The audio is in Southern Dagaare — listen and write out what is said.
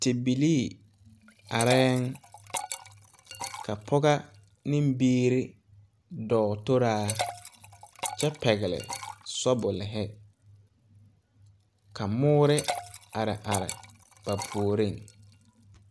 Tibilii areɛɛŋ ka pɔga neŋ biire dɔɔ toraa kyɛ pɛgle shɔbulihi ka noɔre are ba puoriŋ.